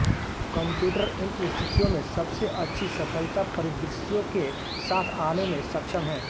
computer इन स्थितियों में सबसे अच्छी सफलता परिदृश्यों के साथ आने में सक्षम हैं